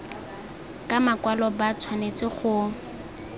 ka makwalo ba tshwanetse go